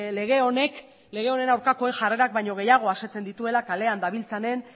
lege honek lege honen aurkakoen jarrerak baino gehiago asetzen dituela kalean dabiltzanen